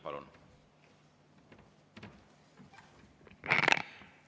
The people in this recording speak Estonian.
Palun!